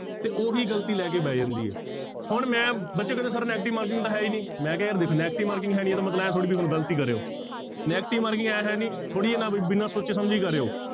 ਤੇ ਉਹੀ ਗ਼ਲਤੀ ਲੈ ਕੇ ਬਹਿ ਜਾਂਦੀ ਹੈ, ਹੁਣ ਮੈਂ ਬੱਚੇ ਕਹਿੰਦੇ sir negative marking ਤਾਂ ਹੈ ਹੀ ਨੀ, ਮੈਂ ਕਿਹਾ ਯਾਰ ਦੇਖੋ negative marking ਹੈ ਨੀ ਇਹਦਾ ਮਤਲਬ ਇਹ ਥੋੜ੍ਹੀ ਵੀ ਹੁਣ ਗ਼ਲਤ ਹੀ ਕਰੇ ਆਓ negative marking ਇਉਂ ਹੈ ਨੀ, ਥੋੜ੍ਹੀ ਹੈ ਨਾ ਵੀ ਬਿਨਾਂ ਸੋਚੇ ਸਮਝੇ ਹੀ ਕਰੇ ਆਓ।